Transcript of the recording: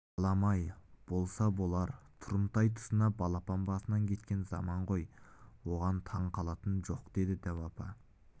балам-ай болса болар тұрымтай тұсына балапан басына кеткен заман ғой оған таң қалатыны жоқ деді дәу апа